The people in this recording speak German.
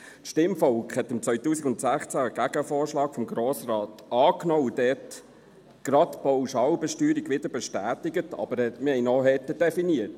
Das Stimmvolk hat im Jahr 2016 einen Gegenvorschlag des Grossen Rates angenommen und gerade die Pauschalbesteuerung wieder bestätigt, aber wir haben sie dort auch härter definiert.